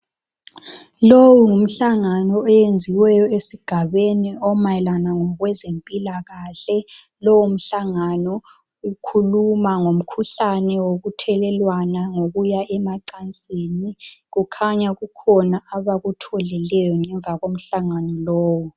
Lowu ngumhlangano owenziweyo esigabeni, omayelana ngokwezempilalahle. Lowomhlangano, ukhuluma ngomkhuhlane wokuthelelwana ngokuya emacansini. Kukhanya kukhona abakutholileyo, ngemva komhlangano lowo.